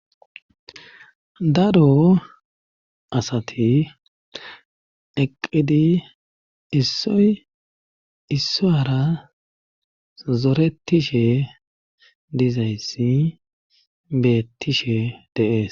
Daro asati eqqidi issoy issoara zoretishe dizayssi beettishe deees